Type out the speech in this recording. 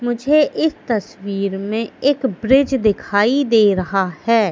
मुझे इस तस्वीर में एक ब्रिज दिखाई दे रहा है।